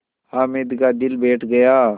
हामिद का दिल बैठ गया